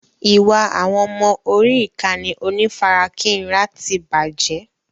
Ìwà àwọn ọmọ orí ìkànnì onífarakínra ti bàjẹ́.